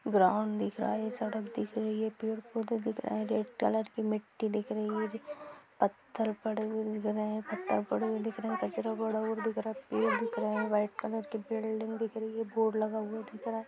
Ground दिख रहा है ये सड़क दिख रही है पेड़ पौधे दिख रहे है रेड कलर की मिट्टी दिख रही है पत्थर पड़े हुए दिख रहे है पते पड़े हुए दिख रहे है कचड़ा पड़ा हुआ दिख रहा है पेड़ दिख रहे है व्हाइट कलर की बिल्डिंग दिख रही है बोर्ड लगा हुआ दिख रहा ह।